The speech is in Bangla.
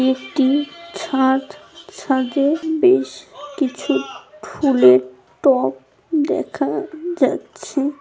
এটি ছাদছাদে বেশ কিছু ফুলের টব দেখা যাচ্ছে।